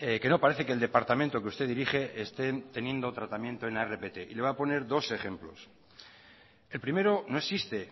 que no parece que el departamento que usted dirige estén teniendo tratamiento en la rpt y le voy a poner dos ejemplos el primero no existe